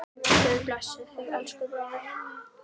Guð blessi þig, elsku bróðir.